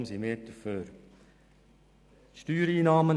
Deshalb sind wir für eine Steuersenkung.